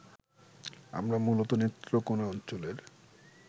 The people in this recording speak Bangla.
আমরা মূলত নেত্রকোনা অঞ্চলের